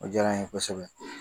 O diyara n ye kosɛbɛ.